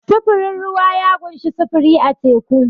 Sufurin ruwa ya ƙunshi sufuri a teku.